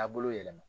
Taabolo yɛlɛma